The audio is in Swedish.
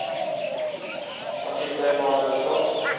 Matilda Emanuelsson